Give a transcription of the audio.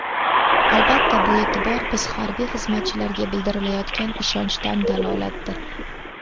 Albatta, bu e’tibor biz harbiy xizmatchilarga bildirilayotgan ishonchdan dalolatdir.